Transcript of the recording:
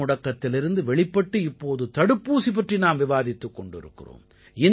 பொதுமுடக்கத்திலிருந்து வெளிப்பட்டு இப்போது தடுப்பூசி பற்றி நாம் விவாதித்துக் கொண்டிருக்கிறோம்